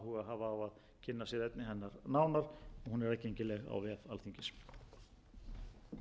á að kynna sér efni hennar nánar og hún er aðgengileg á vef alþingis